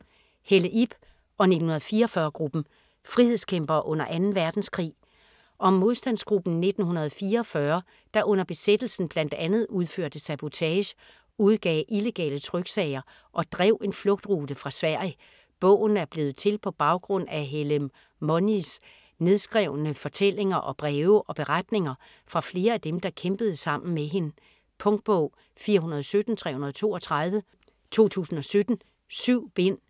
Helle, Ib og "1944"-gruppen: frihedskæmpere under 2. verdenskrig Om modstandsgruppen "1944", der under besættelsen bl.a. udførte sabotage, udgav illegale tryksager og drev en flugtrute til Sverige. Bogen er blevet til på baggrund af Helle Monies nedskrevne fortællinger, og breve og beretninger fra flere af dem, der kæmpede sammen med hende. Punktbog 417332 2017. 7 bind.